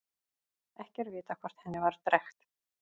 Ekki er vitað hvort henni var drekkt.